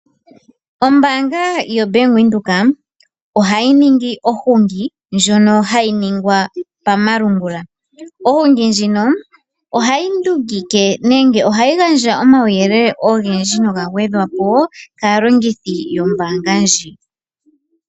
Ombaanga yoBank Windhoek ohayi ningi ohungi ndjono hayi ningwa pamalungula. Ohungi ndjino ohayi ndungike nenge ohayi gandja omawuyelele ogendji noga gwedhwapo kaalongithi yombaanga ndji.